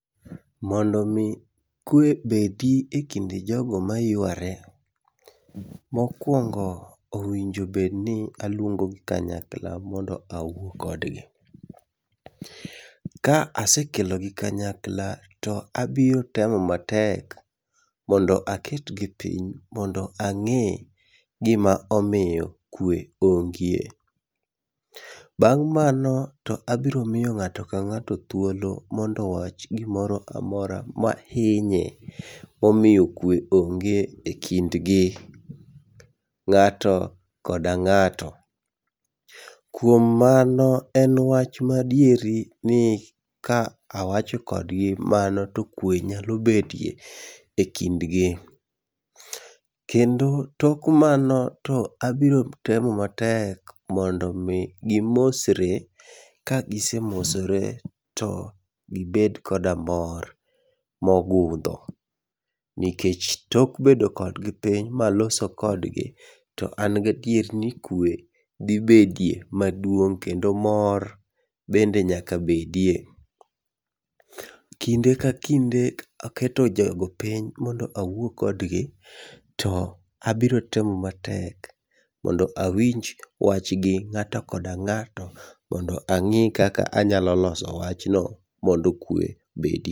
Mondo mi kwe obedi ekind jogo mayuare, mokuongo owinjo bedni aluongo gi kanyakla mondo awuo kodgi. Ka asekelogi kanyakla to abiro temo matek mondo aketgi piny, mondo ang'e gima omiyo kwe onge. Bang' mano to abiro miyo ng'ato ka ng'ato thuolo mondo owach gimoro amora mahinye momiyo kwe onge ekindgi, ng'ato koda ng'ato. Kuom mano, en wach ma adieri ni ka awacho kodgi mano to kwe nyalo bedie ekindgi. Kendo tok mano to abiro temo matek mondo mi gimosre. Ka gise mosre to gibed koda mor mogundho. Nikech tok bedo kodgi piny maloso kodgi to an gadier ni kwe dhi betie maduong' kendo mor bende nyaka bedie. Kinde ka kinde ka keto jogo piny mondo awuo kodgi to abiro temo matek mondo awinj wachgi ng'ato koda ng'ato mondo ane kaka anyalo loso wachgi mondo kwe obedi.